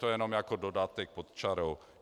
To jen jako dodatek pod čarou.